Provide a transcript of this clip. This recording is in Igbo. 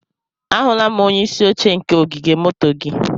Ahụla m onye isi oche nke ogige moto gị.